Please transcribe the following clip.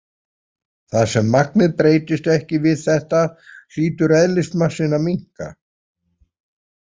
Þar sem magnið breytist ekki við þetta, hlýtur eðlismassinn að minnka.